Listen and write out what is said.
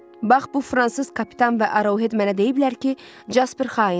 Bax, bu fransız kapitan və Arovhed mənə deyiblər ki, Jasper xaindir.